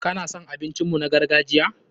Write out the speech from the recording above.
Ka na son abincin mu na gargajiya?